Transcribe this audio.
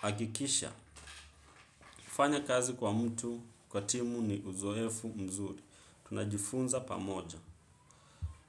Hakikisha, kufanya kazi kwa mtu kwa timu ni uzoefu mzuri. Tunajifunza pamoja.